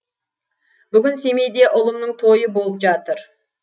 бүгін семейде ұлымның тойы болып жатыр